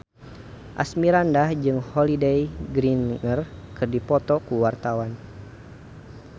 Asmirandah jeung Holliday Grainger keur dipoto ku wartawan